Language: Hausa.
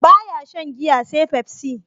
Ba ya shan giya sai pepsi.